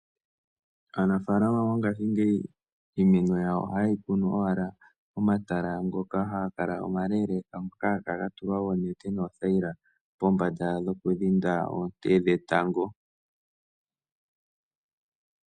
Aanafalama mongashingeyi iimeno yawo ohayi kunu owala momatala omalaleeleka ngoka haga kala ga tulwa oonete noothaila pombanda dhoku dhinda oonte dhetango.